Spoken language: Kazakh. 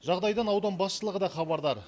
жағдайдан аудан басшылығы да хабардар